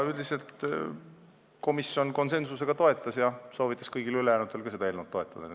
Üldiselt komisjon konsensuslikult eelnõu toetas ja soovitas ka kõigil ülejäänutel toetada.